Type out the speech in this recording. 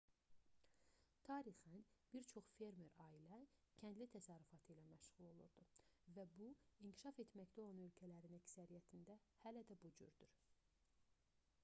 tarixən bir çox fermer ailə-kəndli təsərrüfatı ilə məşğul olurdu və bu inkişaf etməkdə olan ölkələrin əksəriyyətində hələ də bu cürdür